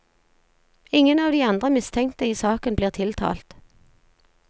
Ingen av de andre mistenkte i saken blir tiltalt.